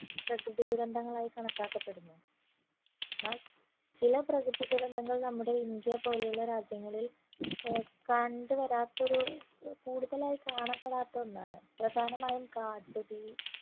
പ്രകൃതി ദുരന്തങ്ങൾ ആയി കണക്കാക്കപ്പെടുന്ന എന്നാൽ ചില പ്രകൃതി ദുരന്തങ്ങൾ നമ്മുടെ ഇന്ത്യ പോലുള്ള രാജ്യങ്ങളിൽ ഏർ കണ്ടുവരാത്തൊരു ഏർ കൂടുതലായി കാണപ്പെടാത്ത ഒന്നാണ് പ്രധാനമായും കാട്ടുതീ